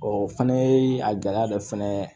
o fɛnɛ ye a gɛlɛya dɔ fɛnɛ